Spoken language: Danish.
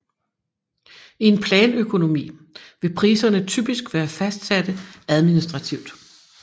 I en planøkonomi vil priserne typisk være fastsatte administrativt